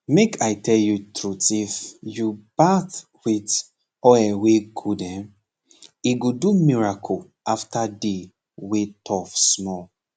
make i tell u truthif u bath with oil wey good hen he go do miracle after day wey tough small